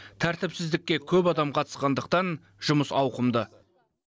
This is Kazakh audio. тәртіпсіздікке көп адам қатысқандықтан жұмыс ауқымды